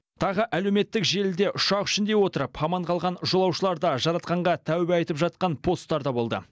тағы әлеуметтік желіде ұшақ ішінде отырып аман қалған жолаушыларда жаратқанға тәуба етіп жатқан посттар да болды